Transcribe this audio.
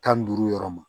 Tan ni duuru yɔrɔ ma